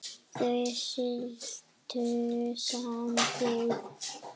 Þau slitu sambúð.